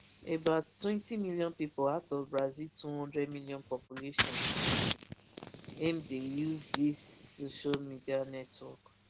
about twenty million pipo out of brazil two hundred million population n aim dey use dis social media network